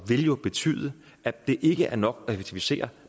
vil jo betyde at det ikke er nok at effektivisere